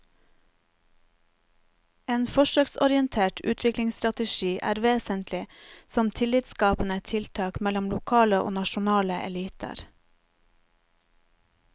En forsøksorientert utviklingsstrategi er vesentlig som tillitsskapende tiltak mellom lokale og nasjonale eliter.